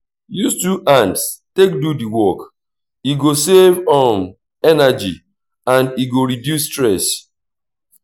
use two hands take do the work e go save um energy and e go reduce stress